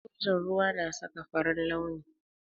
Sojan ruwa na saka farin launi.